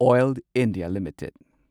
oil India limited